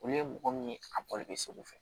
Olu ye mɔgɔ min ye a bɔli bɛ segu fɛ